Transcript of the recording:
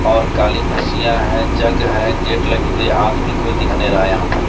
और काली कुर्सियां हैं जग है गेट लगी हुई है आदमी कोई दिख नहीं रहा है यहां पे।